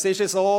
Es ist so: